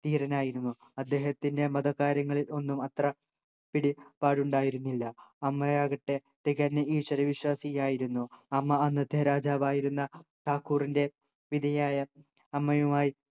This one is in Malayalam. ധീരനായിരുന്നു അദ്ദേഹത്തിന് മതകാര്യങ്ങളിൽ ഒന്നും അത്ര പിടി പാടുണ്ടായിരുന്നില്ല അമ്മയാകട്ടെ തികഞ്ഞ ഈശ്വര വിശ്വാസിയായിരുന്നു 'അമ്മ അന്നത്തെ രാജാവായിരുന്ന ഠാക്കുറിൻ്റെ വിധയായ അമ്മയുമായി